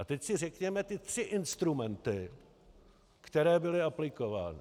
A teď si řekněme ty tři instrumenty, které byly aplikovány.